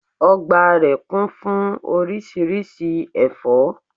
Ọgbà rẹ̀ kún fún oríṣiríṣi ẹ̀fọ́